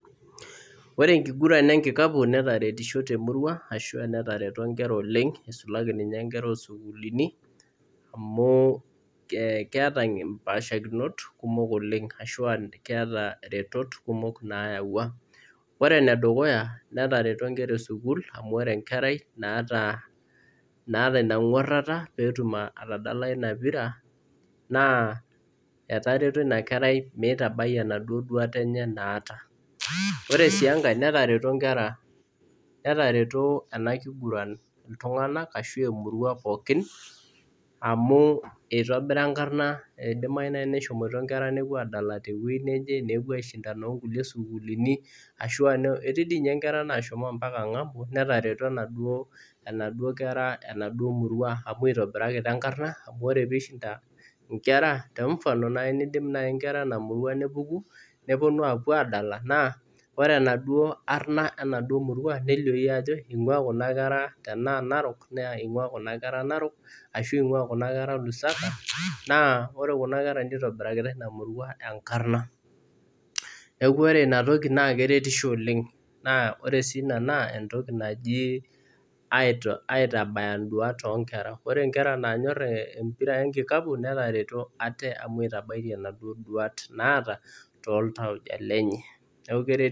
Ore enkiguran enkikapu netaretishe temurua ashu netareto nkera oleng nisulaki ninye nkera esukul amu keeta mpaashikinot ashua keeta retot kumok nayaua, ore enedukuya netareto nkera esukul amu ore enkerai naata ina nguarata pee etum atadalayu ina pira ,naa etareto ina kerai meitabai enaduo duata enye naata .ore sii enkae netareto ena kiguran emurua pookin amu eidimayu naaji meshomoito nkera nepuo adala teweji neje ,nepuo aishindana inkulie netii dii ninye nashomoito ngambo netareto naduo kera enaduo murua amu itobirakita enkarna ,ore pee eishinda nkera naaji tenfano neidim naaji nkera ena murua nepuku nepuo apuo adala naa ore enaduo Ariana enaduo murua nelioyu ajo eingua kuna kera tenaa narok naa ingua Kuna kera narokashu lusaka naa ore kuna kera nirobirakita ina murua enkarna ,neeku ore inatoki naa keretisho oleng ,naa ore sii ina entoki naji aitabaya nduat onkera .ore nkera naanyor enkiguran enkikapu netareto ate amu itabaitia naduo duat naata toltauja lenye.